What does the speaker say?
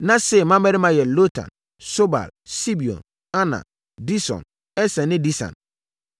Na Seir mmammarima yɛ Lotan, Sobal, Sibeon, Ana, Dison, Eser ne Disan.